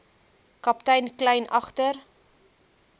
kaptein kleyn agter